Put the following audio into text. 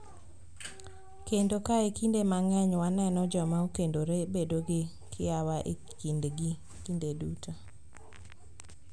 Kendo, kae kinde mang�eny waneno joma okendore bedo gi kiawa e kindgi kinde duto.